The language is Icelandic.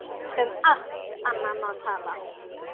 Um allt annað má tala.